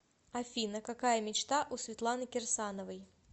афина какая мечта у светланы кирсановой